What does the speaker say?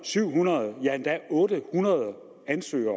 syv hundrede ja otte hundrede ansøgere